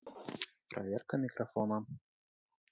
проверка микрофона